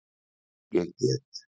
Ég get